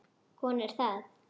Hún er það.